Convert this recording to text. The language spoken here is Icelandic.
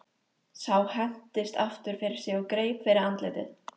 Sá hentist aftur fyrir sig og greip fyrir andlitið.